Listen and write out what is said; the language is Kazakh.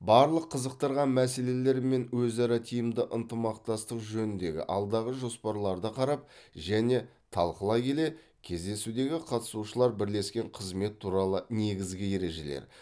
барлық қызықтырған мәселелер мен өзара тиімді ынтымақтастық жөніндегі алдағы жоспарларды қарап және талқылай келе кездесудегі қатысушылар бірлескен қызмет туралы негізгі ережелер